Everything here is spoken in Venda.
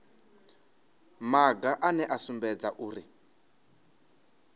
maga ane a sumbedza uri